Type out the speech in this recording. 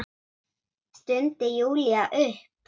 stundi Júlía upp.